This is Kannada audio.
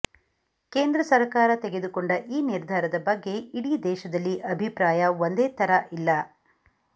ಕೇಂದ್ರ ಸರಕಾರ ತೆಗೆದುಕೊಂಡ ಈ ನಿರ್ಧಾರದ ಬಗ್ಗೆ ಇಡೀ ದೇಶದಲ್ಲಿ ಅಭಿಪ್ರಾಯ ಒಂದೇ ಥರ ಇಲ್ಲ